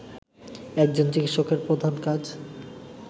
একজন চিকিৎসকের প্রধান কাজ